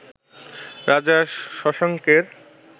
রাজা শশাঙ্কের